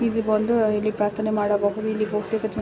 ಇಲ್ಲಿ ಬಂದು ಇಲ್ಲಿ ಪ್ರಾರ್ಥನೆ ಮಾಡಬಹುದು ಇಲ್ಲಿ --